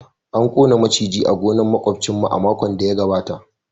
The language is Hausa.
An gano maciji a gonar makwabcinmu a makon da ya gabata